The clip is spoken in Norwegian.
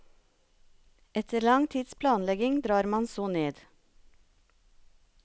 Etter lang tids planlegging drar man så ned.